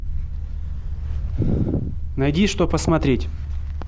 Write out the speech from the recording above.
найди что посмотреть